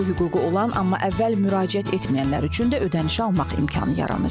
Bu hüququ olan, amma əvvəl müraciət etməyənlər üçün də ödənişi almaq imkanı yaranacaq.